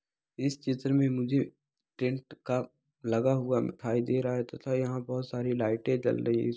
इस चित्र में मुझे टेंट का लगा दिखाई दे रहा है तथा यहाँ बहुत सारी लाईटें जल रही हैं।